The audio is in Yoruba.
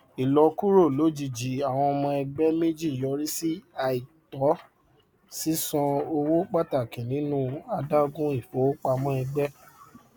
ìlọkúrò lojijì àwọn ọmọ ẹgbẹ méjì yọrí sí àìtó sísan owó pàtàkì nínú adágún ifowopamọ ẹgbẹ